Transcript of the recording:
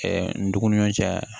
n dumuni cɛ